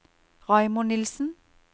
Raymond Nilssen